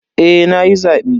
Eh nayi zabe.